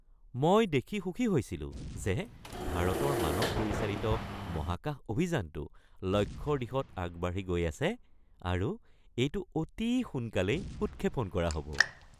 মই দেখি সুখী হৈছিলো যে ভাৰতৰ মানৱ পৰিচালিত মহাকাশ অভিযানটো লক্ষ্যৰ দিশত আগবাঢ়ি গৈ আছে আৰু এইটো অতি সোনকালেই উৎক্ষেপণ কৰা হ’ব।